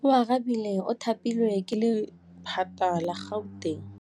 Oarabile o thapilwe ke lephata la Gauteng.